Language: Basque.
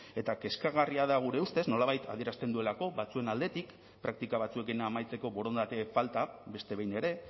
eta kezkagarria da gure ustez nolabait adierazten duelako batzuen aldetik praktika batzuekin amaitzeko borondate falta beste behin ere